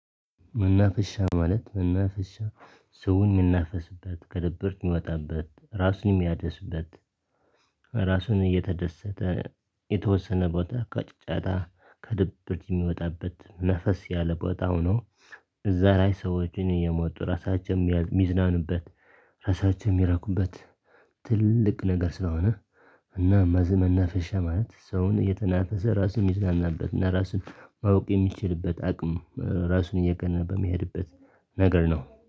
መናፍሻ ማለት መናፍሻ ሰው የሚናፍስበት ከድብርት ሚወጣበት ራሱን የሚያድስበት ራሱን እየተደሰተ የተወሰነ ቦታ ከጫጫታ ከድብርት የሚወጣበት ነፈስ ያለ ቦታ ሆኖ እዛ ላይ ሰዎችን እየመጡ ራሳችንም ሚዝናኑበት ራሳቸው የሚረኩበት ትልቅ ነገር ስለሆነ እና መዝ መናፍሸ ማለት ሰውን የተናፈሰ ራሱን የሚዝናናበት እና ራሱን ማወቅ የሚችልበት አቅም ራሱን እየገነባ በሚሄድበት ነገር ነው